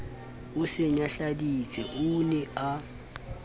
o se nyahladitse o ne